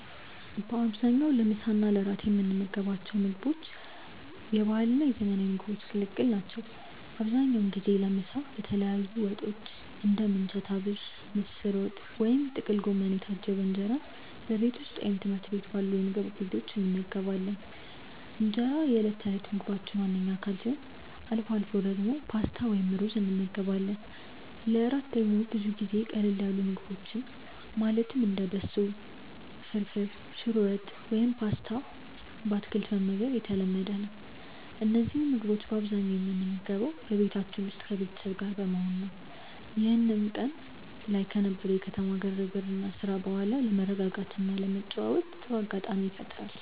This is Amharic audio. በአብዛኛው ለምሳ እና ለእራት የምንመገባቸው ምግቦች የባህልና የዘመናዊ ምግቦች ቅልቅል ናቸው። አብዛኛውን ጊዜ ለምሳ በተለያዩ ወጦች (እንደ ምንቸት አቢሽ፣ ምስር ወጥ ወይም ጥቅል ጎመን) የታጀበ እንጀራን በቤት ውስጥ ወይም ትምህርት ቤት አካባቢ ባሉ ምግብ ቤቶች እንመገባለን። እንጀራ የዕለት ተዕለት ምግባችን ዋነኛ አካል ሲሆን፣ አልፎ አልፎ ደግሞ ፓስታ ወይም ሩዝ እንመገባለን። ለእራት ደግሞ ብዙ ጊዜ ቀለል ያሉ ምግቦችን ማለትም እንደ በሶ ፍርፍር፣ ሽሮ ወጥ ወይም ፓስታ በአትክልት መመገብ የተለመደ ነው። እነዚህን ምግቦች በአብዛኛው የምንመገበው በቤታችን ውስጥ ከቤተሰብ ጋር በመሆን ነው፤ ይህም ቀን ላይ ከነበረው የከተማ ግርግርና ስራ በኋላ ለመረጋጋትና ለመጨዋወት ጥሩ አጋጣሚ ይፈጥራል።